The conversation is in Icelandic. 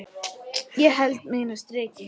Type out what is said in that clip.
Ég held mínu striki.